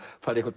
fara í